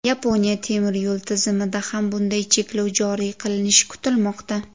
Yaponiya temiryo‘l tizimida ham bunday cheklov joriy qilinishi kutilmoqda.